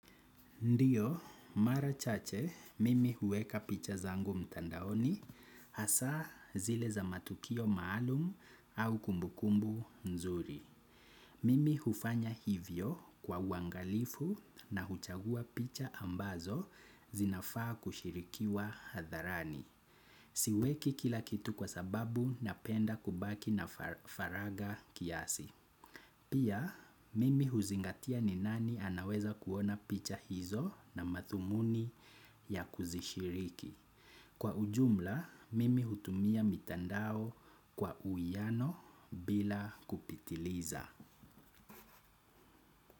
Ndiyo, mara chache, mimi huweka picha zangu mtandaoni hasa zile za matukio maalum au kumbukumbu nzuri. Mimi hufanya hivyo kwa wangalifu na huchagua picha ambazo zinafaa kushirikiwa hadharani. Siweki kila kitu kwa sababu napenda kubaki na faraga kiasi. Pia mimi huzingatia ni nani anaweza kuona picha hizo na mathumuni ya kuzishiriki kwa ujumla mimi hutumia mitandao kwa uyiano bila kupitiliza.